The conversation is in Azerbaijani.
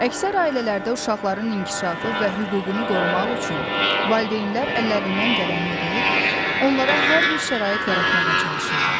Əksər ailələrdə uşaqların inkişafı və hüququnu qorumaq üçün valideynlər əllərindən gələni edir, onlara hər bir şərait yaratmağa çalışırlar.